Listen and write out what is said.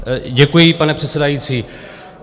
Děkuji, pane předsedající.